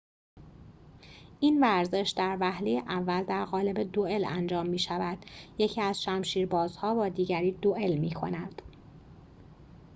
این ورزش در وهله اول در قالب دوئل انجام می‌شود یکی از شمشیربازها با دیگری دوئل می‌کند